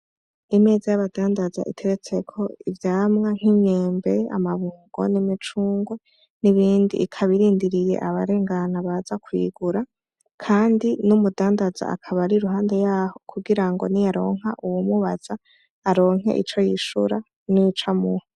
Imeza y'abadandaza iteretseko ivyamwa nk'imyembe, amabungo n'imicungwe n'ibindi ikaba irindiriye abarengana baza kuyigura kandi n'umudandaza akaba ari iruhande yaho kugirango niyaronka uwumubaza aronke ico yishura n'ico amuha.